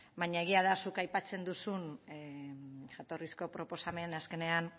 baina egia da zuk aipatzen duzun jatorrizko proposamen azkenean